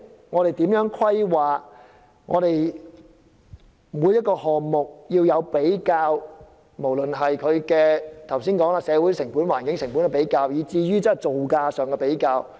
我們要就每一個項目作出比較，無論是社會成本和環境成本，以至造價上的比較。